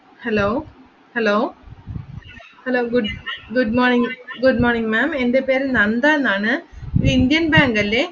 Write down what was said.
Hello, hello, hello good good morning good morning ma'am എൻറെ പേര് നന്ദാ എന്നാണ് ഇത് ഇന്ത്യൻ ബാങ്ക് അല്ലെ?